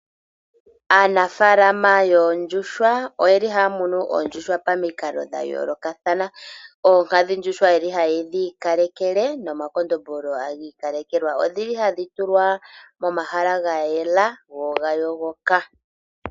Aanafalama yoondjuhwa oye li haya munu oondjuhwa pamikalo dha yoolokathana. Oonkadhindjuhwa ye li haye dhi ikalekele nomakondombolo hagi ikalekelwa. Odhi li hadhi tulwa momahala ga yela googa yogoka.